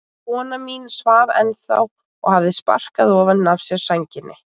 Kona mín svaf ennþá og hafði sparkað ofan af sér sænginni.